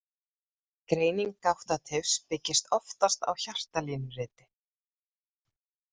Greining gáttatifs byggist oftast á hjartalínuriti.